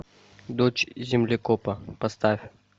дочь землекопа поставь